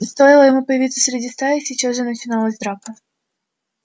стоило ему появиться среди стаи сейчас же начиналась драка